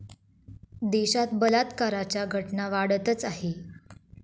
देशात बलात्काराच्या घटना वाढतच आहेत.